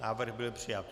Návrh byl přijat.